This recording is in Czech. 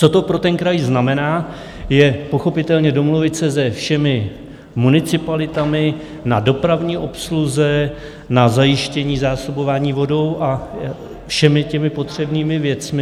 Co to pro ten kraj znamená, je pochopitelně domluvit se se všemi municipalitami na dopravní obsluze, na zajištění zásobování vodou a všemi těmi potřebnými věcmi.